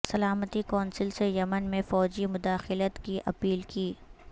سلامتی کونسل سے یمن میں فوجی مداخلت کی اپیل کی